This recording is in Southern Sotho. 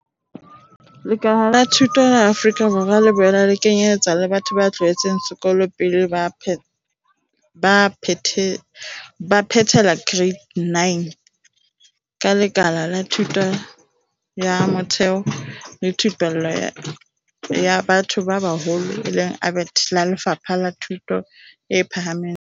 Lekala la thuto la Afrika Borwa le boela le kenyeletsa batho ba tloheletseng sekolo pele ba phethela Kereite ya 9, ka Lenaneo la Thuto ya Motheo le Thupello ya Batho ba Baholo, ABET, la Lefapha la Thuto e Phahameng le Thupello.